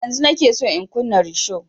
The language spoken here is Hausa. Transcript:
Yanzun nike son in kunna risho